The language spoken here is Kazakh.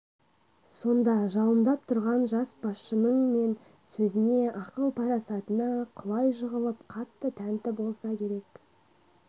сонда жалындап тұрған жас басшының мен сөзіне ақыл-парасатына құлай жығылып қатты тәнті болса керек